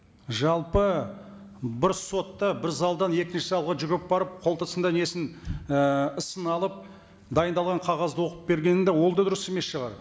жалпы бір сотта бір залдан екінші залға жүгіріп барып несін і ісін алып дайындалған қағазды оқып бергені де ол да дұрыс емес шығар